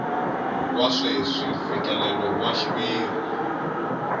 wa sweswi mfikelelo wa xiviri